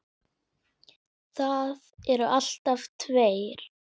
Það eru alltaf tveir